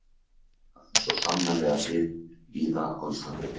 Það á svo sannarlega við víða á Íslandi.